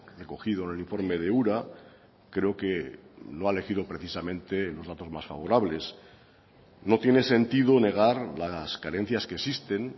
recogido en el informe de ura creo que lo ha elegido precisamente los datos más favorables no tiene sentido negar las carencias que existen